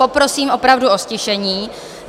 Poprosím opravdu o ztišení.